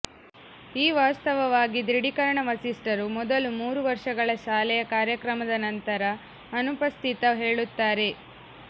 ಈ ವಾಸ್ತವವಾಗಿ ದೃಢೀಕರಣ ವರಿಷ್ಠರು ಮೊದಲು ಮೂರು ವರ್ಷಗಳ ಶಾಲೆಯ ಕಾರ್ಯಕ್ರಮದ ನಂತರ ಅನುಪಸ್ಥಿತ ಹೇಳುತ್ತಾರೆ